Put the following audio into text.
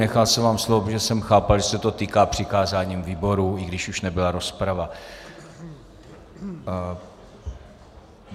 Nechal jsem vám slovo, protože jsem chápal, že se to týká přikázání výboru, i když už nebyla rozprava.